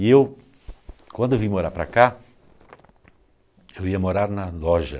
E eu, quando eu vim morar para cá, eu ia morar na loja.